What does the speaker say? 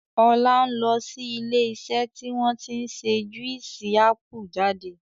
Ọlá ń lọ sí ilé iṣẹ́ tí wọn tí ń ṣe Juísì ápù jáde.